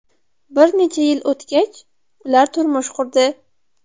Bir necha yil o‘tgach, ular turmush qurdi.